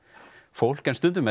fólk en stundum